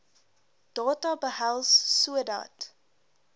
data behels sodat